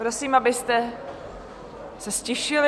Prosím, abyste se ztišili.